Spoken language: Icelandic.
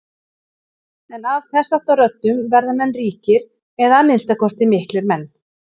En af þessháttar röddum verða menn ríkir eða að minnsta kosti miklir menn.